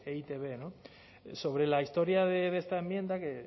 e i te be no sobre la historia de esta enmienda